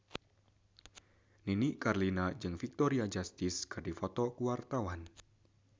Nini Carlina jeung Victoria Justice keur dipoto ku wartawan